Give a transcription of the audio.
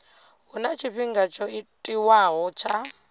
huna tshifhinga tsho tiwaho tsha